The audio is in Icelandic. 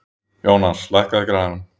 Jónas, lækkaðu í græjunum.